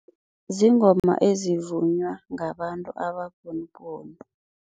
Ziingoma evivunywa ngabantu ababhunubhunu.